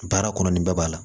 Baara kɔnɔ nin bɛɛ b'a la